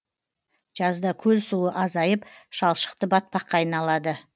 жазда көл суы азайып шалшықты батпаққа айналады